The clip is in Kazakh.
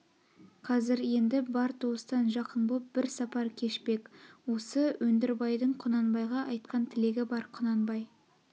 қазір енді бар туыстан жақын боп бір сапар кешпек осы өндірбайдың құнанбайға айтқан тілегі бар құнанбай